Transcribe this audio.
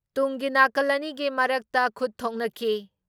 ꯇꯨꯡꯒꯤ ꯅꯥꯀꯜ ꯑꯅꯤꯒꯤ ꯃꯔꯛꯇ ꯈꯨꯠ ꯊꯣꯛꯅꯈꯤ